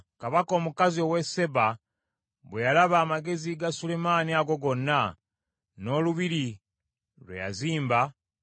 Kabaka omukazi ow’e Seeba bwe yalaba amagezi ga Sulemaani ago gonna, n’olubiri lwe yazimba,